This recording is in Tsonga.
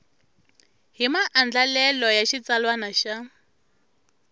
hi maandlalelo ya xitsalwana ya